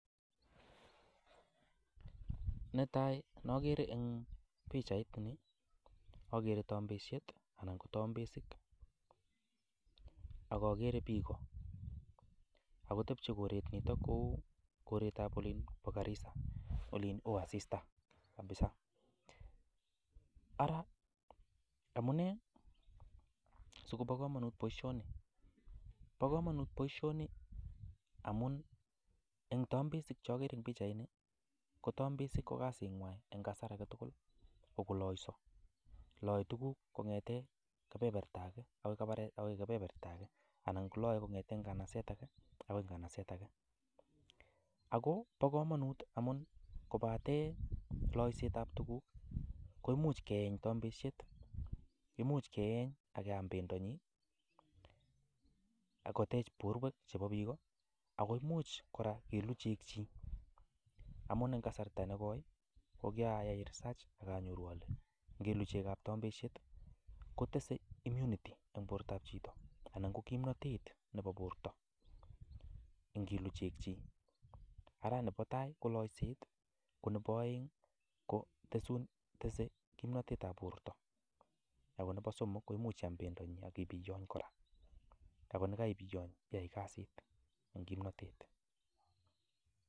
Netai nokere eng pichait ni akere tambesiet anan ko tambesik, ak akere piko ak kotebchei koret nito kou koretab olin bo Garissa olin oo asista kabisa, ara amune si kobo kamanut boisioni, bo kamanut boisioni amun eng tambesik cho akere eng pichaini ko tambesik ko kasingwai eng kasar age tugul ko koloiso, loe tukuk kongete kebeberta ake ako kebeberta ake, anan koloe kongete nganaset ake ako nganaset ake, ako bo kamanut amun kobate loisetab tukuk koimuch keeny tambesiet, imuch keeny ak keam bendonyi ak kotech borwek chebo piko, ako imuch kora kelu chegchik amun en kasarta ne koi ii ko kiyai research ak anyoru ale, ngelu chegab tambesiet kotese immunity eng bortab chito anan ko kimnotet nebo borta ngelu chegchik, ara nebo tai ko loiset ko nebo aeng ko tesun tese kimnotetab borta, ako nebo somok koimuch iam bendonyi ak ibiyony kora ako ni kaibiyony iyai kasit eng kimnotet.